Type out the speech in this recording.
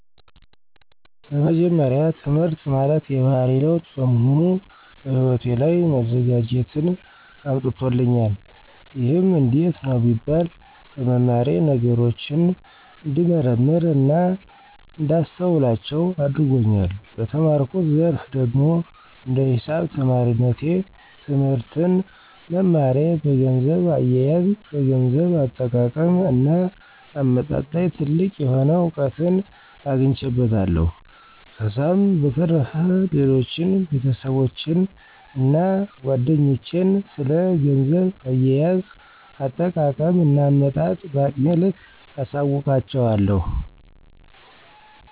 በመጀመሪያ ትህምርት ማለት የባህሪ ለዉጥ በመሆኑ በህይወቴ ላይ መዘጋጀትን አምጥቶልኛል። ይህም እንዴት ነው ቢባል በመማሬ ነገሮችን እንድንመረምር እና እንዳስተውላቸው አድርጎኛል። በተማርኩት ዘርፍ ደግሞ እንደ ሂሳብ ተማሪነቴ ትህምርትን መማሬ በገንዘብ አየየዝ፣ በገንዘብ አጠቃቀም እና አመጣጥ ላይ ትልቅ የሆነ እዉቀትን አግኝቼበታለሁ። ከዛም በተረፈ ሌሎችን ቤተሰቦቼን እና ጓደኞቼን ስለ ገንዘብ አያያዝ፣ አጠቃቀም እና አመጣጥ በአቅሜ ልክ አሳዉቃቸዋለሁ።